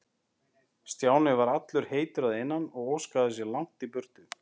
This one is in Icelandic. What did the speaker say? Stjáni var allur heitur að innan og óskaði sér langt í burtu.